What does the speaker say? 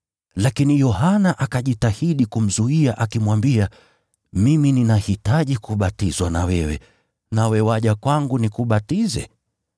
Lakini Yohana akajitahidi kumzuia, akimwambia, “Mimi ninahitaji kubatizwa na wewe, nawe waja kwangu nikubatize?”